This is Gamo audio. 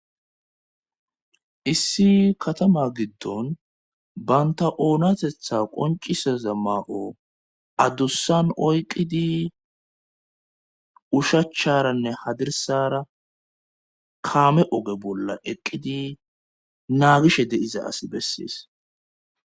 issi katama giddon banta oonatetha qoncisaza maa'o addussan oyqqidi ushacharanne hadirsara kaame oge bolla eqqidi naagishe diza as bessees